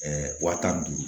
wa tan ni duuru